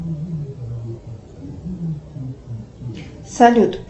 салют